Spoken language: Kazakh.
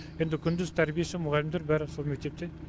енді күндіз тәрбиеші мұғалімдер бәрі сол мектепте